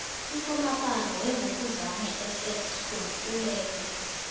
usomapala wevukuzame ss school ulele